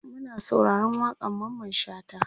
Muna sauraron waƙan Mamman shata